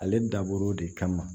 Ale dabɔra o de kama